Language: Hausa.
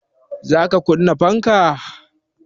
Za ka kunna fanka?